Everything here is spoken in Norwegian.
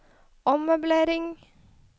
ommøblering